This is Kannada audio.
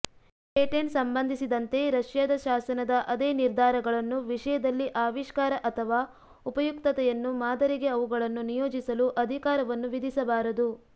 ಪೇಟೆಂಟ್ ಸಂಬಂಧಿಸಿದಂತೆ ರಷ್ಯಾದ ಶಾಸನದ ಅದೇ ನಿರ್ಧಾರಗಳನ್ನು ವಿಷಯದಲ್ಲಿ ಆವಿಷ್ಕಾರ ಅಥವಾ ಉಪಯುಕ್ತತೆಯನ್ನು ಮಾದರಿಗೆ ಅವುಗಳನ್ನು ನಿಯೋಜಿಸಲು ಅಧಿಕಾರವನ್ನು ವಿಧಿಸಬಾರದು